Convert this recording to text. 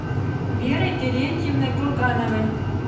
верой терентьевной кургановой